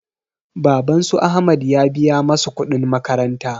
Baban su ahmad ya biya masu kuɗin makaranta